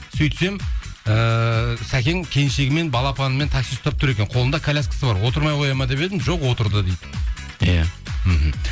сөйтсем ііі сәкең келіншегімен балапанмен такси ұстап тұр екен қолында коляскасы бар отырмай қояды ма деп едім жоқ отырды дейді иә мхм